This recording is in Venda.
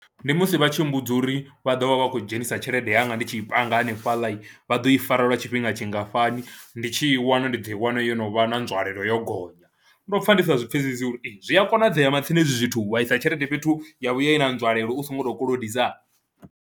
Ndi musi vha tshi mmbudza uri vha ḓo vha vha khou dzhenisa tshelede yanga ndi tshi panga hanefhaḽa, vha ḓo i fara lwa tshifhinga tshingafhani, ndi tshi i wana ndi ḓo i wana yo no vha na nzwalelo yo gonya, ndo pfha ndi sa zwi pfhesesi uri ee zwi a konadzea matsina hezwi zwithu wa isa tshelede fhethu ya vhuya i na nzwalelo u songo tou kolodisa.